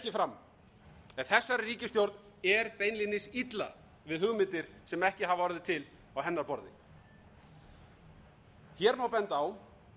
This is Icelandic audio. en þessari ríkisstjórn er beinlínis illa við hugmyndir sm ekki hafa orðið til á hennar borði hér má benda á